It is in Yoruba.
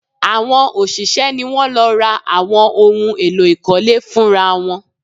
Àwọn òṣìṣẹ́ ni wọ́n lọ ra àwọn ohun èlò ìkọ́lé fún ra wọn